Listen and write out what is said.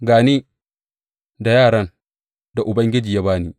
Ga ni, da yaran da Ubangiji ya ba ni.